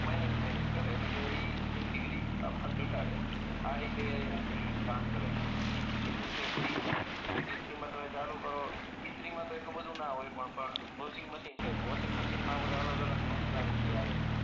minus minus કરે એટલે કે એક ડીગ્રી તાપમાન ધટાડે આ રીતે ઈ કામ કરે પછી એ જ રીતે ઈસ્ત્રી ઈસ્ત્રી માં તમે ચાલુ કરો ઈસ્ત્રી માં તો એટલું બધું ના હોય પણ વોશિંગમશીન છે તો વોશિંગમશીન માં આપણે અલગ અલગ ફન્ક્સના લીટી આવે